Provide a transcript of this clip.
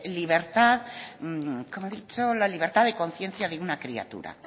libertad cómo ha dicho la libertad de conciencia de una criatura